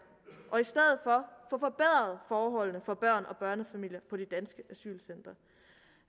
og forbedret forholdene for børn og børnefamilier på de danske asylcentre